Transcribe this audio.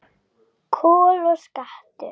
Kol og skattur